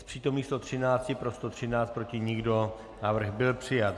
Z přítomných 113, pro 113, proti nikdo Návrh byl přijat.